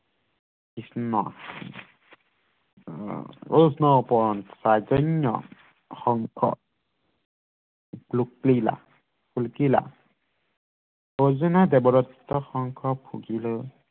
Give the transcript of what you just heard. কৃষ্ণ অৰ্জুনে দেৱৰত্ত শংখ ফুকিলে